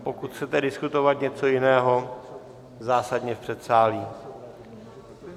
Pokud chcete diskutovat něco jiného, zásadně v předsálí.